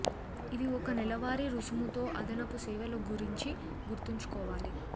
ఇది ఒక నెలవారీ రుసుము తో అదనపు సేవలు గురించి గుర్తుంచుకోవాలి